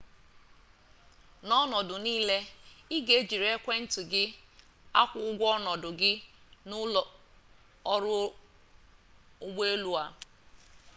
n'ọnọdụ niile i ga-ejiriri ekwentị gị akwụ ụgwọ ọnọdụ gị n'ụlọ ọrụ ụgbọelu a